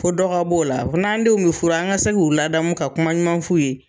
Ko dɔ ka b'o la, an denw mi furu, an ka se k'u laadamu, ka kuma ɲuman f'u ye.